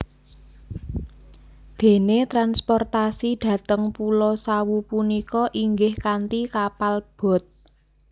Dene transportasi dhateng pulo Sawu punika inggih kanthi kapal boat